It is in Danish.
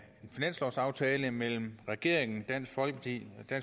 finanslovsaftale mellem regeringen dansk folkeparti